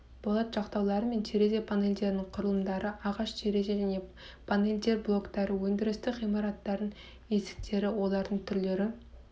болат жақтаулар мен терезе панельдерінің құрылымдары ағаш терезе және панельдер блоктары өндірістік ғимараттардың есіктері олардың түрлері